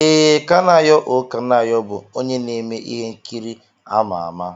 Ee, Kanayo O Kanayo bụ onye na-eme ihe nkiri ama ama.